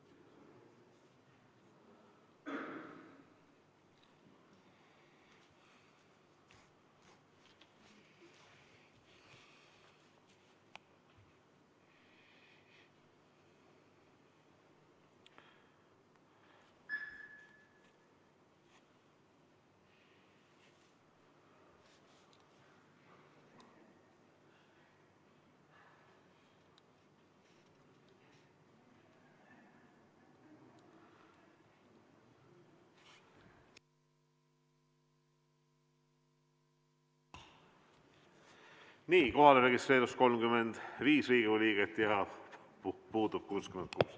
Kohalolijaks registreerus 35 Riigikogu liiget, puudub 66.